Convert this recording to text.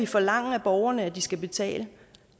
forlange af borgerne de skal betale